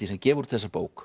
sem gefur út þessa bók